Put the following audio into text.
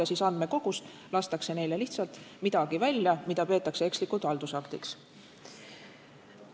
Aga andmekogust lastakse neile lihtsalt midagi välja, mida peetakse ekslikult haldusaktiks.